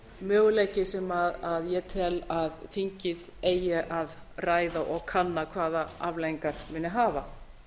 möguleiki sem ég tel að þingið eigi að ræða og kanna hvaða afleiðingar muni hafa